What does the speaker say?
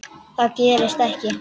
Það gerðist ekki.